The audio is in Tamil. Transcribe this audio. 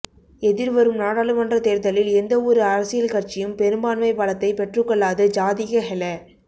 எதிர்வரும் நாடாளுமன்றத் தேர்தலில் எந்தவொரு அரசியல் கட்சியும் பெரும்பான்மை பலத்தைப் பெற்றுக்கொள்ளாது ஜாதிக ஹெல